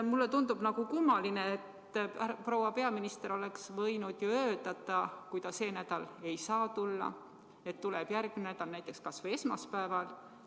Mulle tundub, et proua peaminister oleks võinud ju öelda, kui ta see nädal ei saa tulla, et tuleb järgmine nädal, näiteks esmaspäeval.